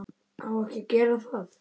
Á ekki að gera það.